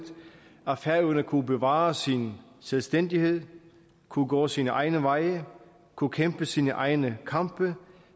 at færøerne kunne bevare sin selvstændighed kunne gå sine egne veje kunne kæmpe sine egne kampe